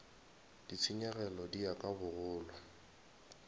ditshenyegelo di ya ka bogolo